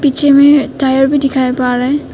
पीछे में टायर भी दिखाई पड़ रहे हैं।